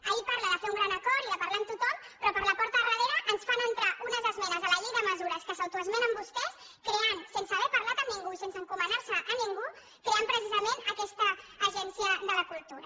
ahir parlava de fer un gran acord i de parlar amb tothom però per la porta del darrere ens fan entrar unes esmenes a la llei de mesures que s’autoesmenen vostès creant sense haver parlat amb ningú i sense encomanar se a ningú precisament aquesta agència de la cultura